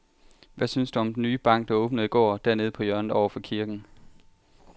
Hvad synes du om den nye bank, der åbnede i går dernede på hjørnet over for kirken?